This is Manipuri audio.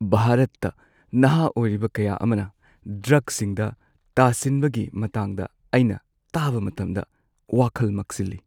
ꯚꯥꯔꯠꯇ ꯅꯍꯥ ꯑꯣꯏꯔꯤꯕ ꯀꯌꯥ ꯑꯃꯅ ꯗ꯭ꯔꯒꯁꯤꯡꯗ ꯇꯥꯁꯤꯟꯕꯒꯤ ꯃꯇꯥꯡꯗ ꯑꯩꯅ ꯇꯥꯕ ꯃꯇꯝꯗ ꯋꯥꯈꯜ ꯃꯛꯁꯤꯜꯂꯤ꯫